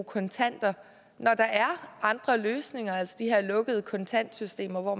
kontanter når der er andre løsninger altså de her lukkede kontantsystemer hvor